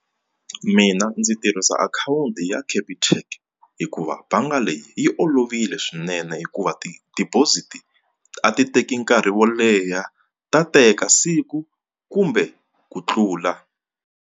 Mina ndzi tirhisa akhawunti ya Capitec hikuva bangi leyi yi olovile swinene hikuva ti-deposit a ti teki nkarhi wo leha ta teka siku kumbe ku tlula.